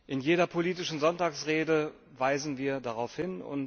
In jeder politischen Sonntagsrede weisen wir darauf hin.